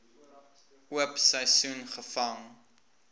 oop seisoen gevang